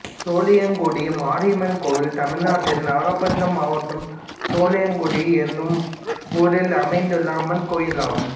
சோழியங்குடி மாரியம்மன் கோயில் தமிழ்நாட்டில் நாகபட்டினம் மாவட்டம் சோழியங்குடி என்னும் ஊரில் அமைந்துள்ள அம்மன் கோயிலாகும்